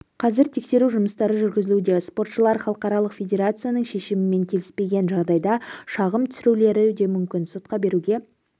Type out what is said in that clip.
қазір тексеру жұмыстары жүргізілуде спортшылар халықаралық федерацияның шешімімен келіспеген жағдайда шағым түсірулерулері де мүмкін сотқа беруге